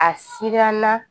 A siran na